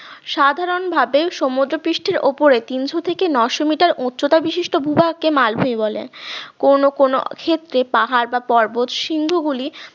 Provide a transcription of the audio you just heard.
সাধারণভাবে সমুদ্রপৃষ্ঠের ওপরে তিনশো থেকে নশো meter উচ্চতা বিশিষ্ট ভূভাগকে মালভূমি বলে কোন কোন ক্ষেত্রে পাহাড় বা পর্বত সিন্ধু গুলি